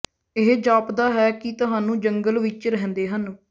ਇਹ ਜਾਪਦਾ ਹੈ ਕਿ ਤੁਹਾਨੂੰ ਜੰਗਲ ਵਿਚ ਰਹਿੰਦੇ ਹਨ